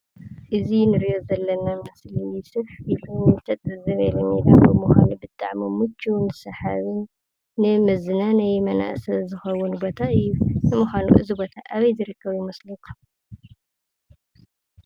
እዝ ንርዮ ዘለና ምስል ስሕ ቶን ተጥ ዘበልን ዳኸ ምዃኑ ብጥዕሙ ሙች ንሳሓብን ንመዝናነይ መናእሰ ዝኸቡን ቦታይ ምዃኑ እዝቦታ ኣበይ ዝ ረከቡ ይመስለኩም?